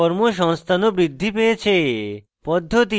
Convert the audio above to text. কর্মসংস্থান ও বৃদ্ধি পেয়েছে